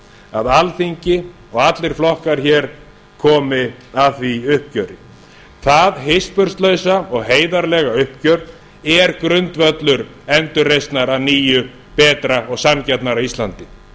að alþingi og allir flokkar komi að því uppgjöri það hispurslausa og heiðarlega uppgjör er grundvöllur endurreisnar að nýju betra og sanngjarnara íslandi